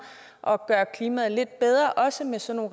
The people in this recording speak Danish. og gøre klimaet lidt bedre også med sådan